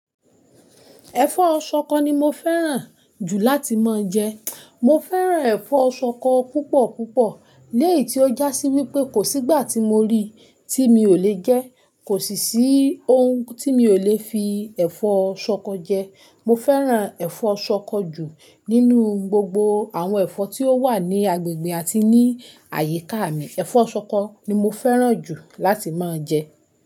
Ẹ̀fọ́ ṣọkọ ni mo fẹ́ràn jù láti máa jẹ. Mo fẹ́ràn ẹ̀fọ́ ṣọkọ púpọ̀ púpọ̀. Léyìí tí ó jásí wípé kò sígbà tí mo rí tí mi ò le jẹ́, kò sì sí ohun tí mi ò le fi ẹ̀fọ́ ṣọkọ jẹ. Mo fẹ́ràn ẹ̀fọ́ ṣọkọ jù nínú gbogbo àwọn ẹ̀fọ́ tí ó wà ní agbègbè àti ní àyíká mi. Ẹ̀fọ́ ṣọkọ ni mo fẹ́ràn jù láti máa jẹ.